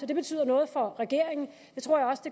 det betyder noget for regeringen